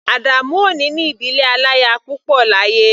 Adamu ò ní ní ìdílé aláya púpọ̀ láyé.